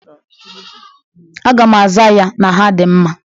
Aga m aza ya na ha dị mma.